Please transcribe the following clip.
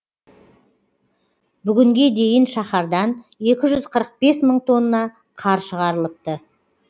бүгінге дейін шаһардан екі жүз қырық бес мың тонна қар шығарылыпты